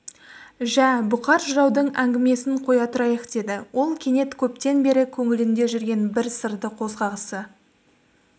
жә бұқар жыраудың әңгімесін қоя тұрайық деді ол кенет көптен бері көңілінде жүрген бір сырды қозғағысы